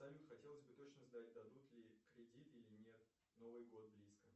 салют хотелось бы точно знать дадут ли кредит или нет новый год близко